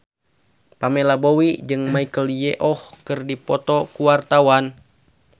Pamela Bowie jeung Michelle Yeoh keur dipoto ku wartawan